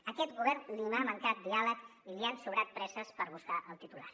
a aquest govern li ha mancat diàleg i li han sobrat presses per buscar el titular